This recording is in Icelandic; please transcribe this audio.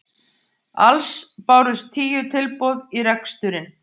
Alls bárust tíu tilboð í reksturinn